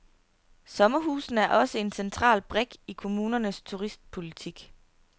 Sommerhusene er også en central brik i kommunernes turistpolitik.